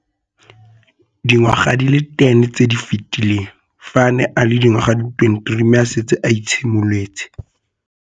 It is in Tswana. Dingwaga di le 10 tse di fetileng, fa a ne a le dingwaga di le 23 mme a setse a itshimoletse.